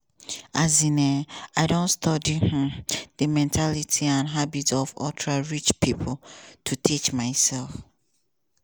um i don study um di mentality and habits of ultra-rich pipo to teach myself.